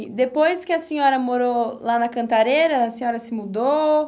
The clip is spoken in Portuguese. E depois que a senhora morou lá na Cantareira, a senhora se mudou?